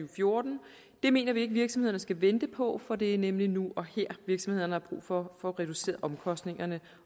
og fjorten det mener vi ikke virksomhederne skal vente på for det er nemlig nu og her virksomhederne har brug for at få reduceret omkostningerne